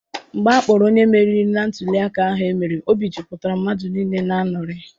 Mgbe akpọrọ onye meriri na ntụliaka ahụ emere, obi jupụtara mmadụ niile n'aṅuri.